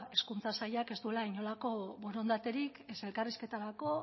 hezkuntza sailak ez duela inolako borondaterik ez elkarrizketarako